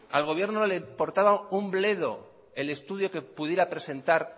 al gobierno le importaba un bledo el estudio que pudiera presentar